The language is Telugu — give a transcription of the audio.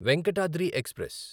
వెంకటాద్రి ఎక్స్ప్రెస్